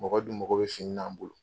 Mɔgɔ dun mago bɛ fini n'an bolo